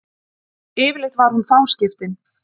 Yfirleitt var hún fáskiptin.